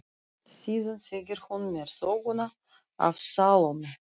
Síðan segir hún mér söguna af Salóme.